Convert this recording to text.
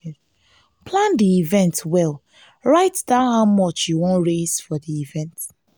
plan di event well write down how much you won raise for di event